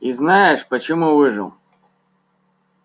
и знаешь почему выжил